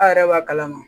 A' yɛrɛ b'a kalama